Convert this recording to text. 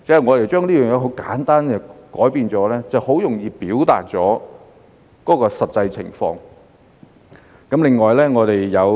我們簡單作出改變，便很容易表達出實際情況。